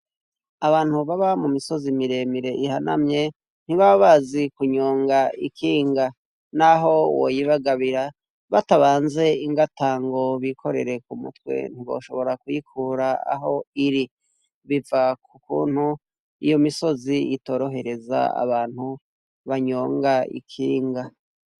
Abantu baba mu misozi miremire ihanamye ntibaba bazi kunyonga ikinga naho woyibagabira batabanze ingata ngo bikorere ku mutwe ntiboshobora kuyikura aho iri, biva ku kuntu iyo misozi itorohereza abantu banyonga ikinga.